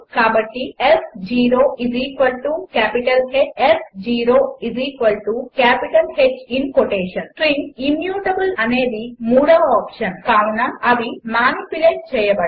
కాబట్టి s0 H s0H strings immutable అనేది మూడవ ఆప్షన్ కావున అవి మానిప్యులేట్ చేయబడవు